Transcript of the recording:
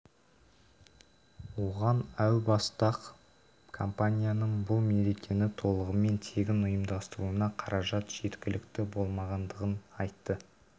оған әу баста-ақ компанияның бұл мерекені толығымен тегін ұйымдастыруына қаражат жеткілікті болмағандығын айтты